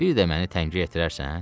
Bir də məni təngə gətirərsən?